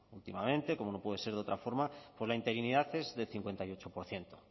últimamente como no puede ser de otra forma pues la interinidad es del cincuenta y ocho por ciento